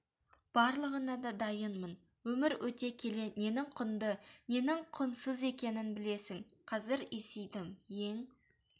барлығына да дайынмын өмір өте келе ненің құнды ненің құнсыз екенін білесің қазір есейдім ең